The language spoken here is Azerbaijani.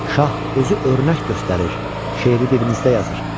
Şah özü örnək göstərir, şeiri dilimizdə yazır.